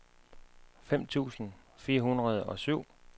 fem tusind fire hundrede og syv